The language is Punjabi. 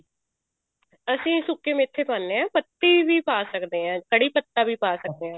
ਅਸੀਂ ਸੁੱਕੇ ਮੇਥੇ ਪਾਉਣੇ ਹਾਂ ਪੱਤੀ ਵੀ ਪਾ ਸਕਦੇ ਹਾਂ ਕੜ੍ਹੀ ਪੱਤਾ ਵੀ ਪਾ ਸਕਦੇ ਹਾਂ ਆਪਾਂ